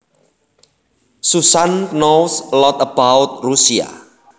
Susan knows a lot about Russia